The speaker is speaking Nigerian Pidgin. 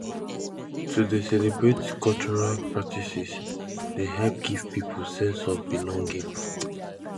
to dey celebrate cultural practices dey help give pipo sense of belonging